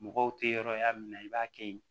Mɔgɔw tɛ yɔrɔ y'a min na i b'a kɛ yen